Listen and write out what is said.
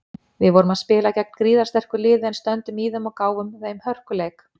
Við vorum spila gegn gríðarsterku liði en stöndum í þeim og gáfum þeim hörkuleik.